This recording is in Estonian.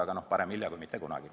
Aga parem hilja kui mitte kunagi.